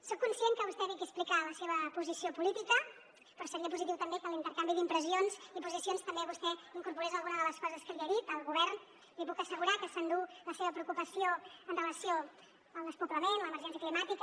soc conscient que vostè ve aquí a explicar la seva posició política però seria positiu també que a l’intercanvi d’impressions i posicions també vostè incorporés alguna de les coses que li he dit el govern li puc assegurar que s’endú la seva preocupació en relació amb el despoblament l’emergència climàtica